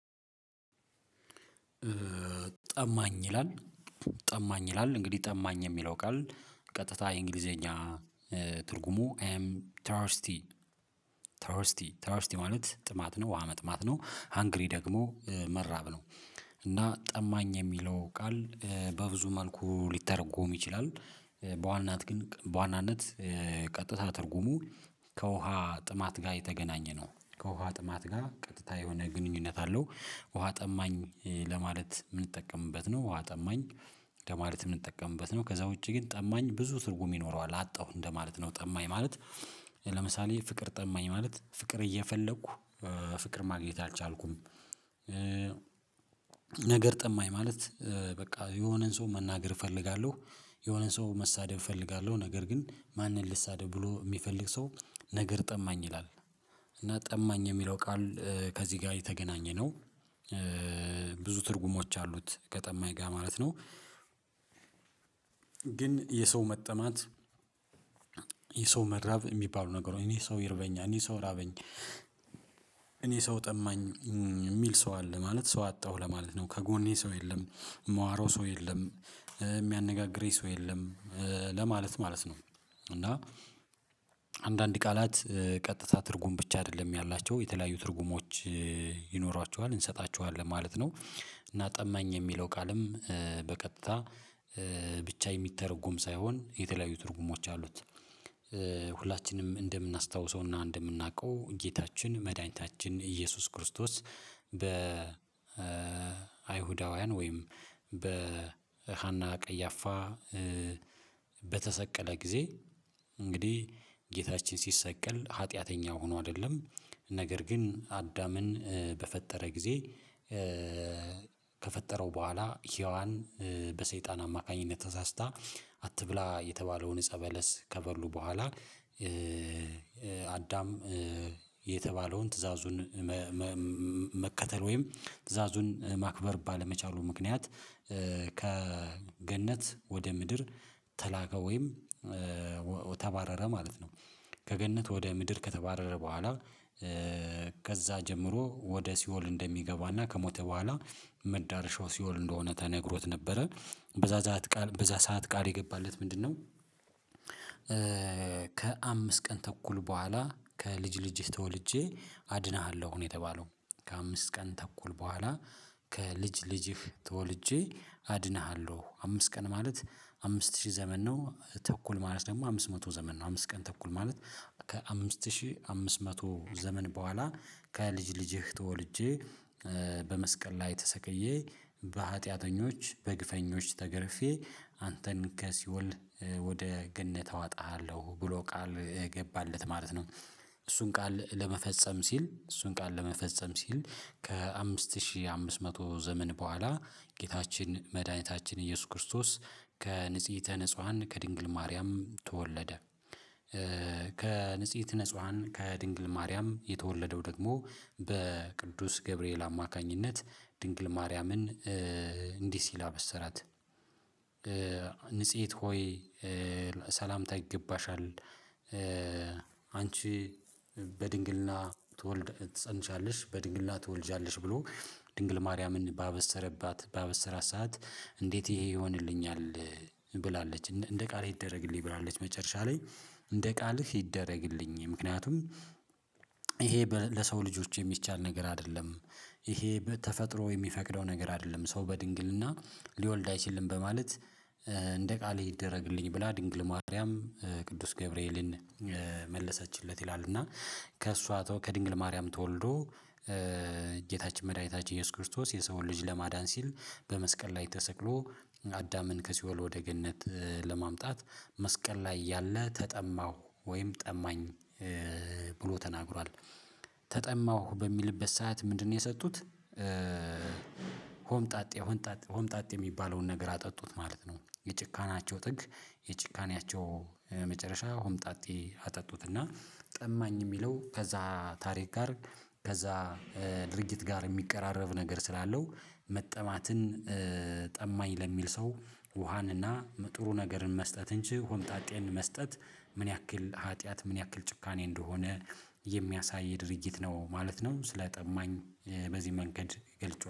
ጠማኝ ይላል ጠማኝ ይላል እንግዲህ ጠማኝ የሚለው ቃል ቀጥታ የእንግሊዘኛ ትርጉሙ ትራስቲ ትራስቲ ትራስቲ ማለት ጥማት ነው ውሃ መጥማት ነው ሃንግሪ ደግሞ መራብ ነው። እና ጠማኝ የሚለው ቃል በብዙ መልኩ ሊተረጎም ይችላል። በዋናነት ግን በዋናነት ቀጥታ ትርጉሙ ከውሃ ጥማት ጋር የተገናኘ ነው ከውሃ ጥማት ጋር ቀጥታ የሆነ ግንኙነት አለው። ውሃ ጠማኝ ለማለት የምንጠቀምበት ነው ውሃ ጠማኝ ለማለት የምንጠቀምበት ነው። ከዛ ውጪ ግን ጠማኝ ብዙ ትርጉም ይኖረዋል አጣሁ እንደማለት ነው ጠማኝ ማለት ለምሳሌ ፍቅር ጠማኝ ማለት ፍቅር እየፈለኩ ፍቅር ማግኘት አልቻልኩም። ነገር ጠማኝ ማለት በቃ የሆነን ሰው መናገር እፈልጋለሁ የሆነን ሰው መሳደብ እፈልጋለሁ ነገር ግን ማንን ልሳደብ ብሎ የሚፈልግ ሰው ነገር ጠማኝ ይላል። እና ጠማኝ የሚለው ቃል ከዚህ ጋር የተገናኘ ነው ብዙ ትርጉሞች አሉት ከጠማኝ ጋር ማለት ነው። ግን የሰው መጠማት የሰው መራብ የሚባሉ ነገሮች እኔ ሰው ይርበኛል እኔ ሰው ራበኝ። እኔ ሰው ጠማኝ የሚል ሰው አለ ማለት ሰው አጣሁ ለማለት ነው ከጎኔ ሰው የለም። መወራው ሰው የለም የሚያነጋግረኝ ሰው የለም ለማለት ማለት ነው። እና አንዳንድ ቃላት ቀጥታ ትርጉም ብቻ አይደለም ያላቸው የተለያዩ ትርጉሞች ይኖሯቸዋል እንሰጣቸዋለን ማለት ነው። እና ጠማኝ የሚለው ቃልም በቀጥታ ብቻ የሚተረጉም ሳይሆን የተለያዩ ትርጉሞች አሉት። ሁላችንም እንደምናስታውሰውና እንደምናውቀው ጌታችን መድኃኒታችን ኢየሱስ ክርስቶስ በ አይሁዳውያን ወይም በሃና ቀያፋ በተሰቀለ ጊዜ እንግዲህ ጌታችን ሲሰቀል ሀጢያተኛ ሆኖ አይደለም። ነገር ግን አዳምን በፈጠረ ጊዜ ከፈጠረው በኋላ ሄዋን በሰይጣን አማካኝነት ተሳስታ አትብላ የተባለውን እፀበለስ ከበሉ በኋላ አዳም የተባለውን ትዕዛዙን መከተል ወይም ትዕዛዙን ማክበር ባለመቻሉ ምክንያት ከገነት ወደ ምድር ተላከ ወይም ተባረረ ማለት ነው። ከገነት ወደ ምድር ከተባረረ በኋላ ከዛ ጀምሮ ወደ ሲኦል እንደሚገባና ከሞተ በኋላ መዳረሻው ሲኦል እንደሆነ ተነግሮት ነበረ በዛ ዛት ቃል በዛ ሰዓት ቃል የገባለት ምንድነው? ከአምስት ቀን ተኩል በኋላ ከልጅ ልጅ ተወልጄ አድንሃለሁ ነው። የተባለው ከአምስት ቀን ተኩል በኋላ ከልጅ ልጅህ ተወልጄ አድነሃለሁ አምስት ቀን ማለት አምስት ሺህ ዘመን ነው ተኩል ማለት ደግሞ አምስት መቶ ዘመን ነው አምስት ቀን ተኩል ማለት ከአምስት ሺህ አምስት መቶ ዘመን በኋላ ከልጅ ልጅህ ተወልጄ በመስቀል ላይ ተሰቅዬ በሀጢያተኞች በግፈኞች ተገርፌ አንተን ከሲኦል ወደ ገነት አወጣሃለሁ ብሎ ቃል እገባለት ማለት ነው። እሱን ቃል ለመፈጸም ሲል እሱን ቃል ለመፈጸም ሲል ከአምስት ሺህ አምስት መቶ ዘመን በኋላ ጌታችን መድኃኒታችን ኢየሱስ ክርስቶስ ከንጽይህተ ነጹሀን ከድንግል ማርያም ተወለደ። ከንጽይህተ ነጽሀን ከድንግል ማርያም የተወለደው ደግሞ በቅዱስ ገብርኤል አማካኝነት ድንግል ማርያምን እንዲህ ሲል አበሰራት ንጽህይት ሆይ ሠላምታ ይገባሻል። አንቺ በድንግልና ትወልድ ትፀንሻለሽ በድንግልና ትወልጃለሽ ብሎ ድንግል ማርያምን ባበሰረባት ባበሰራት ሰዓት እንዴት ይሄ ይሆንልኛል? ብላለች እንደ ቃልህ ይደረግልኝ ብላለች መጨረሻ ላይ እንደ ቃልህ ይደረግልኝ ምክንያቱም ይሄ ለሰው ልጆች የሚቻል ነገር አይደለም። ይሄ ተፈጥሮ የሚፈቅደው ነገር አይደለም ሰው በድንግልና ሊወልድ አይችልም በማለት እንደ ቃልህ ይደረግልኝ ብላ ድንግል ማርያም ቅዱስ ገብርኤልን መለሰችለት ይላል። እና ከእሷ ከድንግል ማርያም ተወልዶ ጌታችን መድኃኒታችን ኢየሱስ ክርስቶስ የሰውን ልጅ ለማዳን ሲል በመስቀል ላይ ተሰቅሎ አዳምን ከሲኦል ወደ ገነት ለማምጣት መስቀል ላይ እያለ ተጠማሁ ወይም ጠማኝ ብሎ ተናግሯል። ተጠማሁ በሚልበት ሰዓት ምንድነው የሰጡት? ሆምጣጤ የሚባለውን ነገር አጠጡት ማለት ነው። የጭካናቸው ጥግ የጭካኔያቸው መጨረሻ ሆምጣጤ አጠጡት እና ጠማኝ የሚለው ከዛ ታሪክ ጋር ከዛ ድርጊት ጋር የሚቀራረብ ነገር ስላለው መጠማትን ጠማኝ ለሚል ሰው ውሃንና ጥሩ ነገርን መስጠት እንጂ ሆምጣጤን መስጠት ምን ያክል ሀጥያት ምን ያክል ጭካኔ እንደሆነ የሚያሳይ ድርጊት ነው ማለት ነው። ስለ ጠማኝ በዚህ መንገድ ገልጨዋ